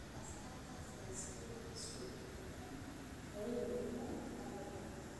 Axsaabta siyaasaddu way isku biiraan oo way burburaan marba mar.